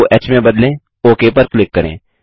ब को ह में बदलें ओक पर क्लिक करें